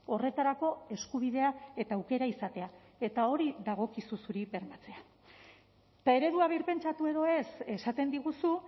horretarako eskubidea eta aukera izatea eta hori dagokizu zuri bermatzea eta eredua birpentsatu edo ez esaten diguzu